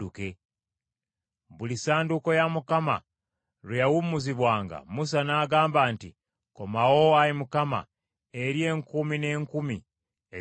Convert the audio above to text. Buli Ssanduuko ya Mukama Katonda lwe yawummuzibwanga, Musa n’agamba nti, “Komawo, Ayi Mukama , eri enkumi n’enkumi eza Isirayiri.”